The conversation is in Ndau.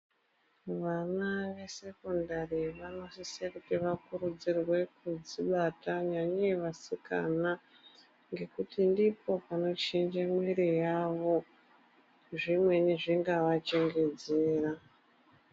Vana ve sekondari vanosise kuti va kurudzirwe kudzi bata nyanyei vasikana ngekuti ndipo pano chinje mwiri yavo zvimweni zvingava chengetedzera .